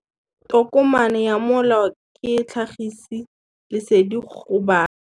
Tokomane ya molao ke tlhagisi lesedi go baagi.